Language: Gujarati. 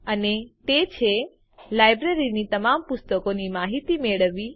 અને તે છે લાઈબ્રેરીની તમામ પુસ્તકોની માહિતી મેળવવી